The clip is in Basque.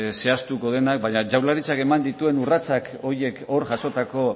zehaztuko denak baina jaurlaritzak eman dituen urrats horiek hor jasotako